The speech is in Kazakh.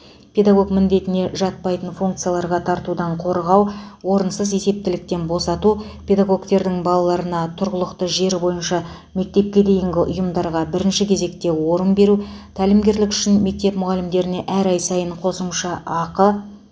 педагог міндетіне жатпайтын функцияларға тартудан қорғау орынсыз есептіліктен босату педагогтердің балаларына тұрғылықты жері бойынша мектепке дейінгі ұйымдарға бірінші кезекте орын беру тәлімгерлік үшін мектеп мұғалімдеріне әр ай сайын қосымша ақы